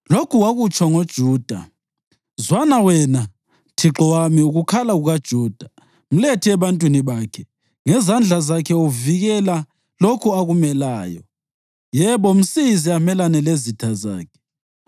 Lokhu wakutsho ngoJuda: “Zwana, wena Thixo wami, ukukhala kukaJuda; mlethe ebantwini bakhe. Ngezandla zakhe uvikela lokho akumeleyo. Yebo, msize amelane lezitha zakhe!”